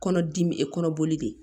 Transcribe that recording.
Kɔnɔ dimi e kɔnɔ boli de